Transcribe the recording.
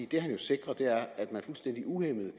det han sikrer er jo at man fuldstændig uhæmmet